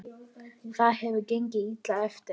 Það hefur gengið illa eftir.